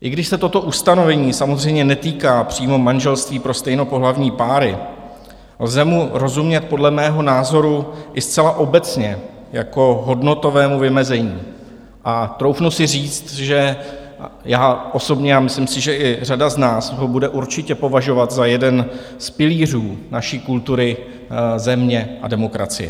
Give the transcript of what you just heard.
I když se toto ustanovení samozřejmě netýká přímo manželství pro stejnopohlavní páry, lze mu rozumět podle mého názoru i zcela obecně jako hodnotovému vymezení a troufnu si říct, že já osobně - a myslím si, že i řada z nás - ho bude určitě považovat za jeden z pilířů naší kultury, země a demokracie.